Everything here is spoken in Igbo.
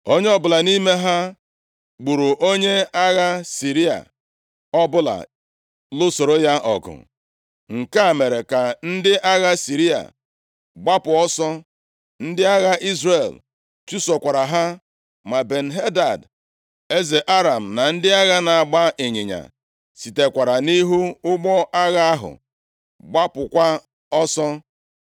Onye ọbụla nʼime ha gburu onye agha Siria ọbụla lụsoro ya ọgụ. Nke a mere ka ndị agha Siria gbapụ ọsọ, ndị agha Izrel chụsokwara ha. Ma Ben-Hadad, eze Aram, na ndị agha na-agba ịnyịnya, sitekwara nʼihu ọgbọ agha ahụ gbapụkwa ọsọ.